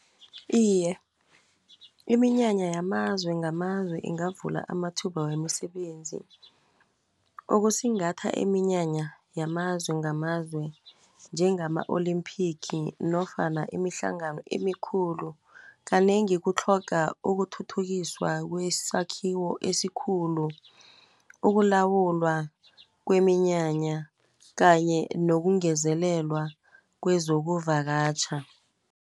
Iye, iminyanya yamazwe ngamazwe ingavula amathuba wemisebenzi. Ukusingatha iminyanya yamazwe ngamazwe njengama-olimphigi, nofana imihlangano emikhulu, kanengi kutlhoga ukuthuthukiswa kwesakhiwo esikhulu, ukulawulwa kweminyanya, kanye nokungezelelwa kwezokuvakatjha.